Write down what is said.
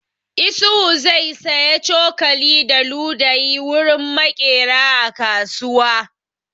Isuhu zai saya cokali da ludayi wurin maƙeri a kasuwa.